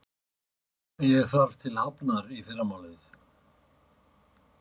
Ég þarf til Hafnar í fyrramálið.